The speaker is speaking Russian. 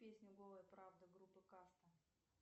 песня голая правда группы каста